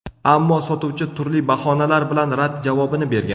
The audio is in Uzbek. Ammo sotuvchi turli bahonalar bilan rad javobini bergan.